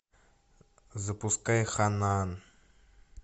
запускай ханаан